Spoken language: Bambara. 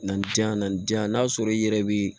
Nin jan na nin jan n'a sɔrɔ i yɛrɛ bi